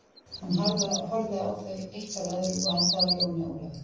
Hún horfði á þau eitt af öðru og endaði á Jóni Ólafi.